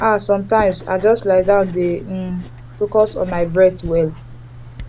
ah sometimes i just lie down dey um focus on my breath well